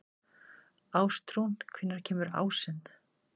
Ástrún, hvenær kemur ásinn?